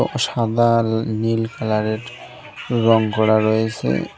সাদা নীল কালারের রং করা রয়েসে।